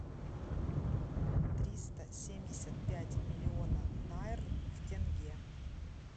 триста семьдесят пять миллиона найр в тенге